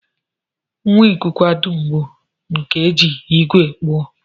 Ngwa nkụkwa dum bu nke e ji ígwè kpụọ